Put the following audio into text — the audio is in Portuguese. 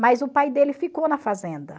Mas o pai dele ficou na fazenda.